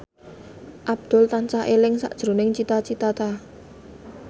Abdul tansah eling sakjroning Cita Citata